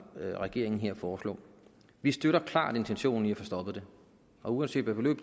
regeringen her foreslår vi støtter klart intentionen i at få stoppet det og uanset hvilket